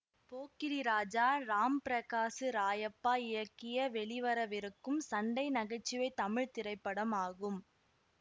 போக்கிரி ராஜா ராம்பிரகாசு ராயப்பா இயக்கிய வெளிவரவிருக்கும் சண்டைநகைச்சுவைத் தமிழ் திரைப்படம் ஆகும்